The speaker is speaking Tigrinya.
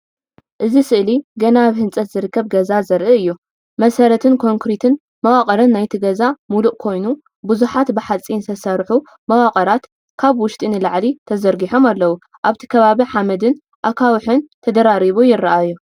እዚ ስእሊ ገና ኣብ ህንጸት ዝርከብ ገዛ ዘርኢ እዩ። መሰረትን ኮንክሪት መዋቕርን ናይቲ ገዛ ምሉእ ኮይኑ ብዙሓት ብሓጺን ዝተሰርሑ መዋቕራት ካብ ውሽጢ ንላዕሊ ተዘርጊሖም ኣለዉ። ኣብቲ ከባቢ ሓመድን ኣኻውሕን ተደራሪቡ ይረኣዩ።